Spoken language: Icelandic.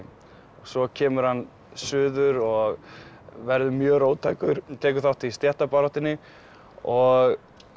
svo kemur hann suður og verður mjög róttækur tekur þátt í stéttabaráttunni og